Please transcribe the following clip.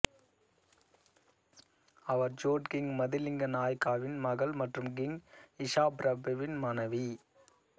அவர் சோட் கிங் மதுலிங்க நாயக்காவின் மகள் மற்றும் கிங் இஷாபிரபுவின் மனைவி